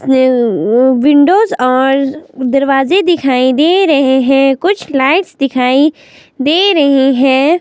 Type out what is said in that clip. Windows और दरवाजे दिखाई दे रहे हैं कुछ लाइट्स दिखाई दे रही हैं।